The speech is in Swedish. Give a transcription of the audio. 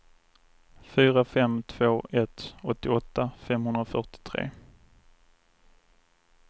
fyra fem två ett åttioåtta femhundrafyrtiotre